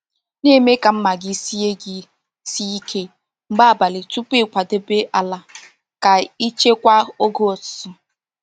Na-eme ka mma gị sie gị sie ike mgbe abalị tupu ịkwadebe ala ka ị chekwaa oge ụtụtụ.